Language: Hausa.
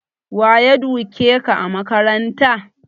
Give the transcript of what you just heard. Waye duke ka a makaranta?